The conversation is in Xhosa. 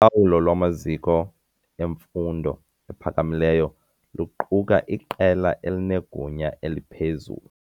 Ulawulo lwamaziko emfundo ephakamileyo luquka iqela elinegunya eliphezulu.